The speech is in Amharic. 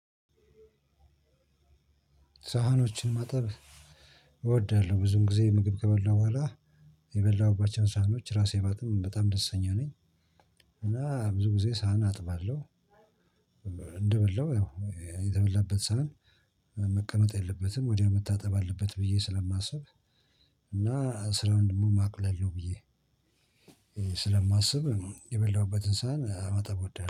ሳህኖችን ማጠብ እወዳለሁ ብዙን ጊዜ ምግብ ከበላሁ በኋላ የበላሁባቸውን ሳህኖች ራሴ ባጥብም በጣም ደስተኛ ነኝ። እና ብዙ ጊዜ ሳህን አጥባለሁ። እንደበላው የተበላበት ሳህን መቀመጥ የለበትም ወዲያው መታጠብ አለበት ብዬ ስለማስብ። እና ስራውን ደግሞ ማቅለል ነው ብዬ ስለማስብ የበላውበትን ሳህን መጠብ እወዳለሁ